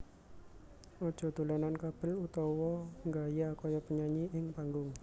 Aja dolanan kabel utawa nggaya kaya penyanyi ing panggung